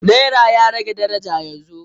Naira ya rage daraja yanzu.